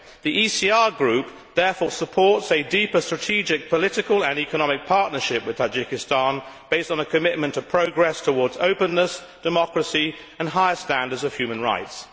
The ECR Group therefore supports a deeper strategic political and economic partnership with Tajikistan based on a commitment of progress towards openness, democracy and higher standards of human rights.